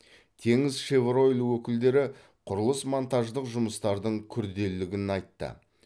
теңізшевройл өкілдері құрылыс монтаждық жұмыстардың күрделілігін айтты